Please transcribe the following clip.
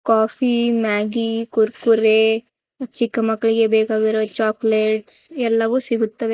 Coffee Maggi Kurkure ಚಿಕ್ಕಮಕ್ಕಳಿಗೆ ಬೇಕಾಗಿರೋ ಈ ಚಾಕ್ಲೆಟ್ಸ್ ಎಲ್ಲವೂ ಸಿಗುತ್ತವೆ.